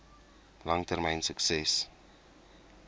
lang termyn sukses